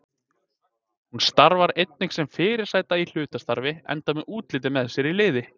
Hún starfar einnig sem fyrirsæta í hlutastarfi enda með útlitið með sér í liði.